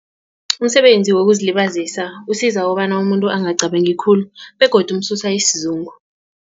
Umsebenzi wokuzilibazisa usiza kobana umuntu angacabangi khulu begodu umsusa isizungu.